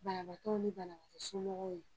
Banabaatɔw ni banabaatɔ somɔgɔw ye